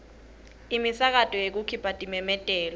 imisakato yekukhipha timemetelo